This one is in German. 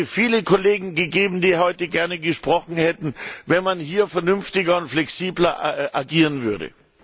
Es hätte viele Kollegen gegeben, die heute gerne gesprochen hätten, wenn man hier vernünftiger und flexibler agieren würde.